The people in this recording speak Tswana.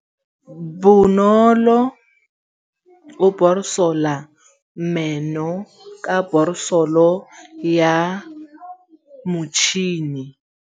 Bonolô o borosola meno ka borosolo ya motšhine.